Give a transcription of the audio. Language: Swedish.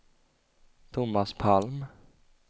Thomas Palm